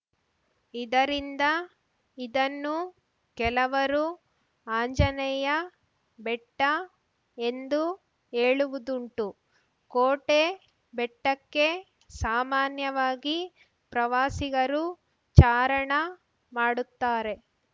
ಇದರಿಂದ ಇದನ್ನು ಕೆಲವರು ಆಂಜನೇಯ ಬೆಟ್ಟಎಂದೂ ಹೇಳುವುದುಂಟು ಕೋಟೆ ಬೆಟ್ಟಕ್ಕೆ ಸಾಮಾನ್ಯವಾಗಿ ಪ್ರವಾಸಿಗರು ಚಾರಣ ಮಾಡುತ್ತಾರೆ